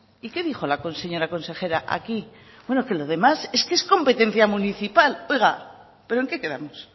y qué dijo la señora consejera aquí que lo demás es competencia municipal oiga pero en qué quedamos